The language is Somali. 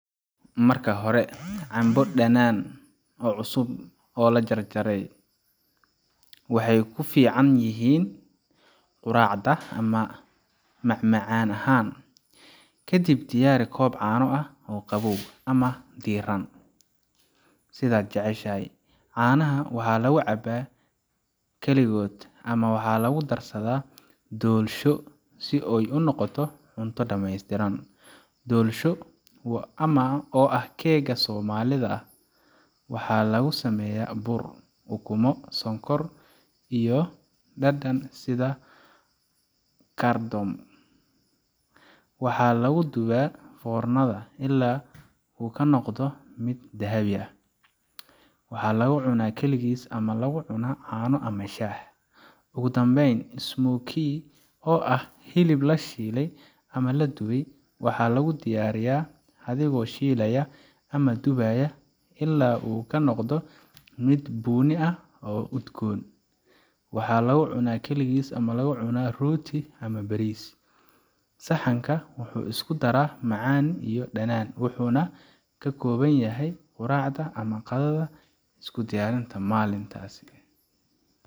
Marka hore, cambo dhanaan cusub jarjar oo dhig saxan. Waxay ku fiican yihiin quraacda ama macmacaan ahaan. Kadib, diyaari koob caano ah oo qabow ama diirran, sidaad jeceshahay. Caanaha waxaa lagu cabaa kaligood ama waxaa lagu daraa doolsho si ay u noqoto cunto dhameystiran. Doolsho, oo ah keega Somalida ah, waxaa lagu sameeyaa bur, ukumo, sonkor, iyo dhadhan sida cardamom. Waxaa lagu dubaa foornada ilaa uu ka noqdo mid dahabi ah. Waxaa lagu cunaa kaligiis ama la cuno caano ama shaah. Ugu dambeyn, smokie, oo ah hilib la shiilay ama la dubay, waxaa lagu diyaariyaa adigoo shiilaya ama dubaya ilaa uu ka noqdo mid bunni ah oo udgoon. Waxaa lagu cunaa kaligiis ama la cuno rooti ama bariis. Saxankan wuxuu isku daraa macaan iyo dhadhan, wuxuuna ka koban yahay quraacda ama qadada. Iskudiyarinta maantasi.